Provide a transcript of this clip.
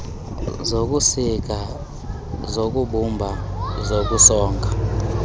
zokusika zokubumba zokusonga